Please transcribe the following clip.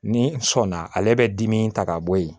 Ni sɔn na ale bɛ dimi ta ka bɔ yen